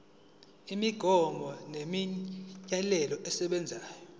imigomo nemiyalelo esebenza